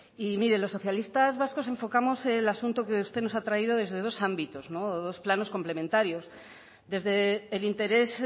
y mire los socialistas vascos enfocamos el asunto que usted nos ha traído desde dos ámbitos o dos planos complementarios desde el interés